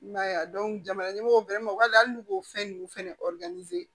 I m'a ye a jamana ɲɛmɔgɔ bɛrɛ ma wali hali n'u y'o fɛn nunnu fɛnɛ